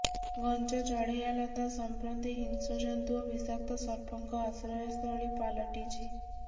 ଘଞ୍ଚ ଚଢେୟାଲତା ସମ୍ପ୍ରତି ହିଂସ୍ରଜନ୍ତୁ ଓ ବିଷାକ୍ତସର୍ପଙ୍କ ଆଶ୍ରୟସ୍ଥଳୀ ପାଲଟିଛି